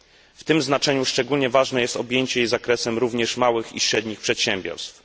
W tym znaczeniu szczególnie ważne jest objęcie jej zakresem również małych i średnich przedsiębiorstw.